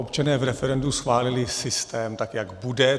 Občané v referendu schválili systém, tak jak bude.